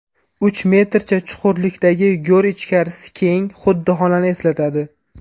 Uch metrcha chuqurlikdagi g‘or ichkarisi keng, xuddi xonani eslatadi.